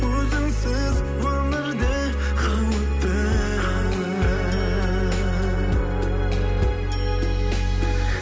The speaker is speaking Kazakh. өзіңсіз өмірде қауіпті